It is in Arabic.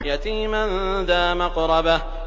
يَتِيمًا ذَا مَقْرَبَةٍ